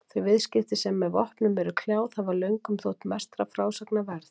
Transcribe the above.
Þau viðskipti sem með vopnum eru kljáð hafa löngum þótt mestra frásagna verð.